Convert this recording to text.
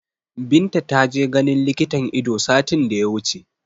Binta ta je ganin likitan Ido satin da ya wuce